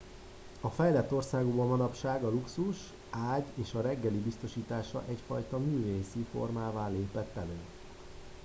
a fejlett országokban manapság a luxus ágy és a reggeli biztosítása egyfajta művészi formává lépett elő